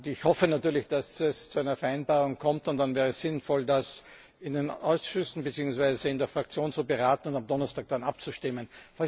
Ich hoffe natürlich, dass es zu einer Vereinbarung kommt, und dann wäre es sinnvoll, darüber in den Ausschüssen bzw. in der Fraktion zu beraten und am Donnerstag dann abzustimmen.